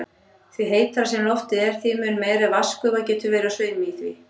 Því heitara sem loftið er, þeim mun meiri vatnsgufa getur verið á sveimi í því.